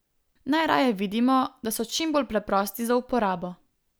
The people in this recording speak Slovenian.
Najraje vidimo, da so čim bolj preprosti za uporabo.